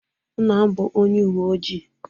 Nna m bụ ọnye uwe ojị